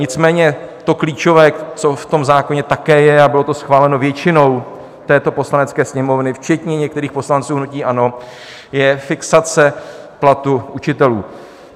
Nicméně to klíčové, co v tom zákoně také je a bylo to schváleno většinou této Poslanecké sněmovny včetně některých poslanců hnutí ANO, je fixace platu učitelů.